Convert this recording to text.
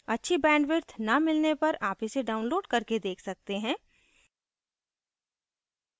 अच्छी bandwidth न मिलने पर आप इसे download करके देख सकते हैं